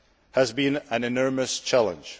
has been an enormous challenge.